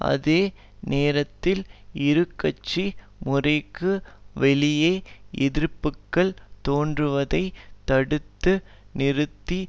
அதே நேரத்தில் இருகட்சி முறைக்கு வெளியே எதிர்ப்புக்கள் தோன்றுவதை தடுத்து நிறுத்தி